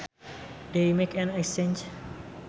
They make an exchange